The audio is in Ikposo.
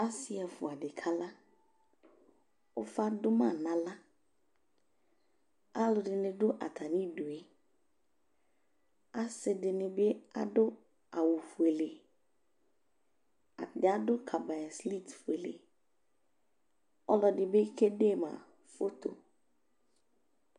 asi ɛƒʋadi Kala ʋfa duma nala alʋdini du atamidue asidinibi adʋ awu fʋele atani adu NA fʋele ɔlʋɛdibi ke NA (yeyezɛlɛ)